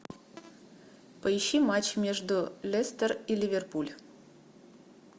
поищи матч между лестер и ливерпуль